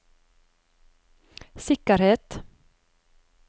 sikkerhet